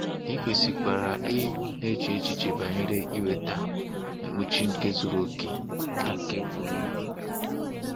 I kwesịkwara ị na-eche banyere iweta mkpuchi nke zuru okè na nke bụ ibu.